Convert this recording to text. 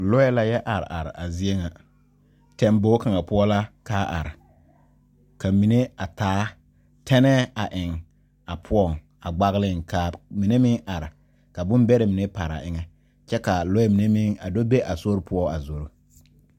Lɔe la yɔ are are a zie ŋa. Tɛnbɔgu kanga poʊ la ka a are. Ka mene a taa tɛneɛ a ɛŋ a poʊŋ a gbagliŋ. Ka mene meŋ are ka boŋ bɛrɛ mene meŋ pare a eŋɛ. Kyɛ ka lɔe mene meŋ do be a sore poʊ a zoro